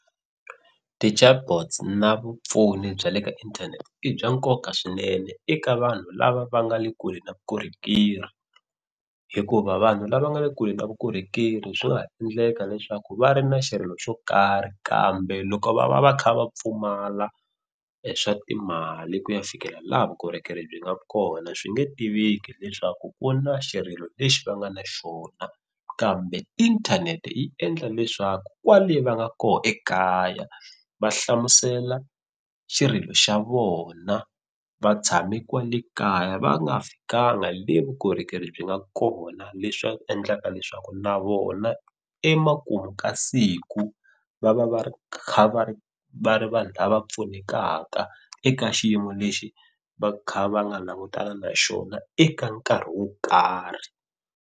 Ti-chatbots na vupfuni bya le ka inthanete i bya nkoka swinene eka vanhu lava va nga le kule na vukorhokeri hikuva vanhu lava nga le kule na vukorhokeri swi nga endleka leswaku va ri na xirilo xo karhi kambe loko va va va kha va pfumala swa timali ku ya fikelela laha vukorhokeri byi nga kona swi nge tiveki leswaku ku na xirilo lexi va nga na xona kambe inthanete yi endla leswaku kwale va nga koho ekaya va hlamusela xirilo xa vona va tshame kwale kaya va nga fikanga le vukorhokeri byi nga kona leswa endlaka leswaku na vona emakumu ka siku va va va ri kha va ri va ri vanhu lava pfunekaka eka xiyimo lexi va kha va nga langutana na xona eka nkarhi wo karhi.